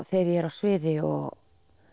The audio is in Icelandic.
þegar ég er á sviði og